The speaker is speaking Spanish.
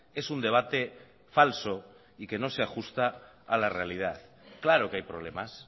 es un debate falso y que no se ajusta a la realidad claro que hay problemas